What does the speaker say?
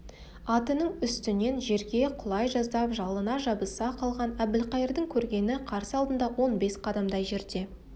атының үстінен жерге құлай жаздап жалына жабыса қалған әбілқайырдың көргені қарсы алдында он бес қадамдай жерде